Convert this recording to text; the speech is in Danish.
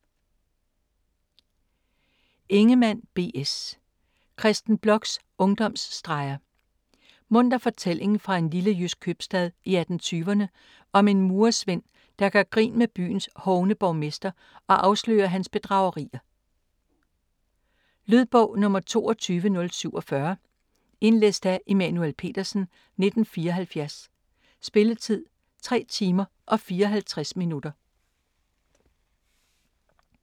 Ingemann, B. S.: Kristen Bloks ungdomsstreger Munter fortælling fra en lille jysk købstad i 1820'rne om en murersvend, der gør grin med byens hovne borgmester og afslører hans bedragerier. Lydbog 22047 Indlæst af Immanuel Petersen, 1974. Spilletid: 3 timer, 54 minutter.